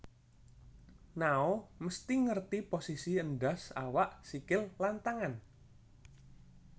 Nao mesti ngerti posisi endas awak sikil lan tangan